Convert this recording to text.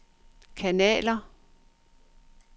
kanaler